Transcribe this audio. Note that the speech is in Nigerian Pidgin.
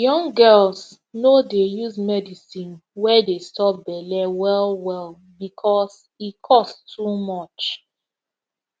young girls no dey use medicine wey dey stop belle well well because e cost too much